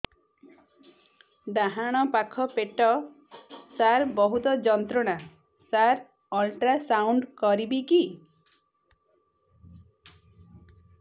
ଡାହାଣ ପାଖ ପେଟ ସାର ବହୁତ ଯନ୍ତ୍ରଣା ସାର ଅଲଟ୍ରାସାଉଣ୍ଡ କରିବି କି